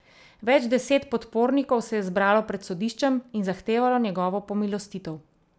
Več deset podpornikov se je zbralo pred sodiščem in zahtevalo njegovo pomilostitev.